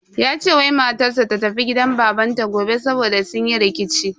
Ya ce wai matar sa ta tafi gidan babanta gobe saboda sun yi rikici.